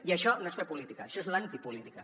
i això no és fer política això és l’antipolítica